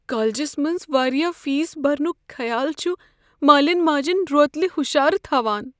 کالجس منز واریاہ فیس برنک خیال چھ مالین ماجن روتلہ ہشارٕ تھوان۔